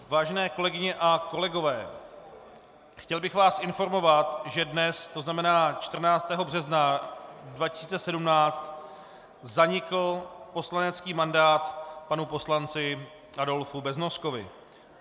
Vážené kolegyně a kolegové, chtěl bych vás informovat, že dnes, to znamená 14. března 2017, zanikl poslanecký mandát panu poslanci Adolfu Beznoskovi.